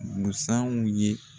Busanw ye.